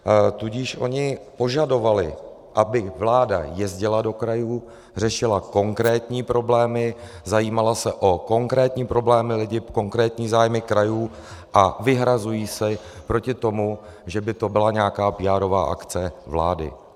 Tudíž oni požadovali, aby vláda jezdila do krajů, řešila konkrétní problémy, zajímala se o konkrétní problémy lidí, konkrétní zájmy krajů, a vyhrazuji se proti tomu, že by to byla nějaká píárová akce vlády.